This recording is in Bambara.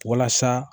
Walasa